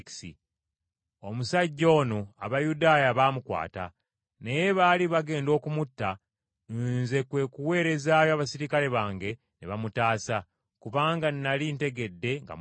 Omusajja ono Abayudaaya baamukwata, naye baali bagenda okumutta, nze kwe kuweerezaayo abaserikale bange ne bamutaasa, kubanga nnali ntegedde nga Muruumi.